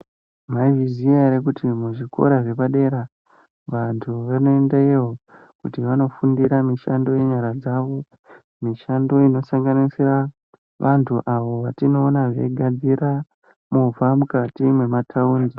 Mwaiziya ere Kuti zvikora zvapadera vantu vanoendeyo kofundira mishando yenyara dzavo mishando inosanganisira vantu avo vatinoona veigadzirira movha mukati metaundi.